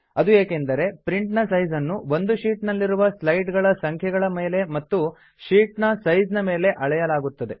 ಅದು ಏಕೆಂದರೆ ಪ್ರಿಂಟ್ ನ ಸೈಜ್ ನ್ನು ಒಂದು ಶೀಟ್ ನಲ್ಲಿರುವ ಸ್ಲೈಡ್ ಗಳ ಸಂಖ್ಯೆಗಳ ಮೇಲೆ ಮತ್ತು ಶೀಟ್ ನ ಸೈಜ್ ಮೇಲೆ ಅಳೆಯಲಾಗುತ್ತದೆ